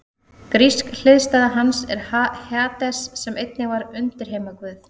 Grísk hliðstæða hans er Hades sem einnig var undirheimaguð.